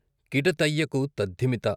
కిట తయ్యకు తద్ధిమిత..